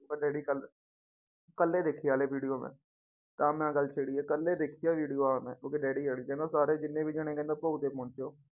Daddy ਕੱਲ੍ਹ ਕੱਲ੍ਹ ਹੀ ਦੇਖੀ ਹੈੈ ਹਾਲੇ video ਮੈਂ ਤਾਂ ਮੈਂ ਆਹ ਗੱਲ ਛੇੜੀ ਹੈ ਕੱਲ੍ਹ ਹੀ ਦੇਖੀ ਆ video ਆ ਮੈਂ ਉਹਦੇ daddy ਵਾਲੀ ਕਹਿੰਦਾ ਸਾਰੇ ਜਿੰਨੇ ਵੀ ਜਾਣੇ ਕਹਿੰਦਾ ਭੋਗ ਤੇ ਪਹੁੰਚੋ।